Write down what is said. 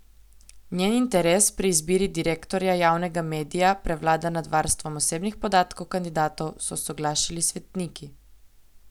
Njen interes pri izbiri direktorja javnega medija prevlada nad varstvom osebnih podatkov kandidatov, so soglašali svetniki.